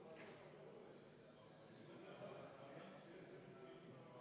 Hääletame neljandat muudatusettepanekut, mille on esitanud majanduskomisjon, juhtivkomisjon on jätnud ...